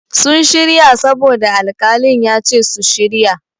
Sun shirya saboda alƙalin ya ce su shirya.